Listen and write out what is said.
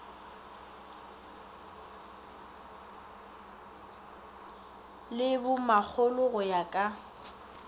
le bomakgolo go ya ka